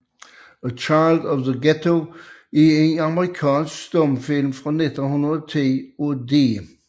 A Child of the Ghetto er en amerikansk stumfilm fra 1910 af D